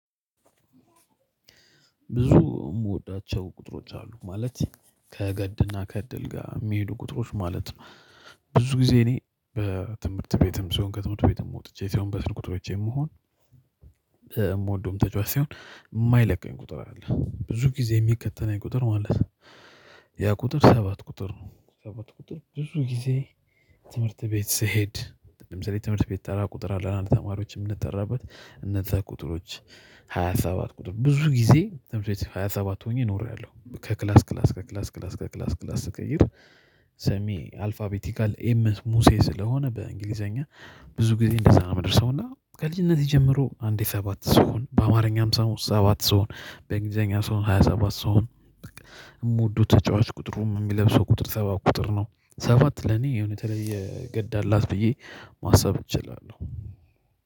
ብዙ የምወዳቸው ቁጥሮች አሉ ማለት ከገድና ከእድል ጋር የሚሄዱ ቁጥሮች ማለት ነው። ብዙ ጊዜ እኔ በትምህርት ቤትም ሲሆን ከትምህርት ቤትም ወጥቼ ሲሆን በስልክ ቁጥሮቼም ይሁን የምወደውም ተጫዋች ሲሆን የማይለቀኝ ቁጥር አለ ብዙጊዜ የሚከተነኝ ቁጥር ማለት ያ ቁጥር ሰባት ቁጥር ነው። ሰባት ቁጥር ብዙ ጊዜ ትምህርት ቤት ስሄድ ለምሳሌ ትምህርት ቤት ተራ ቁጥር አለና ተማሪዎች የምንጠራበት እነዛ ቁጥሮች ሃያ ሰባት ቁጥር ብዙ ጊዜ ሃያ ሰባት ሆኜ ኖሬያለሁ። ከክላስ ክላስ ከክላስ ክላስ ከክላስ ክላስ ስቀይር ስሜ አልፋቤቲካል ኤም ሙሴ ስለሆነ በእንግሊዘኛ ብዙ ጊዜ እንደዛ ነው የምደርሰው እና ከልጅነቴ ጀምሮ አንዴ ሰባት ሰው በአማርኛ ሰባት ስሆን በእንግሊዘኛ ሲሆን ሃያ ሰባት ስሆን የምወደው ተጫዋች ቁጥሩም የሚለብሰው ቁጥር ሰባት ቁጥር ነው። ሰባት ለኔ የሆነ የተለየ ገድ አላት ብዬ ማሰብ እችላለሁ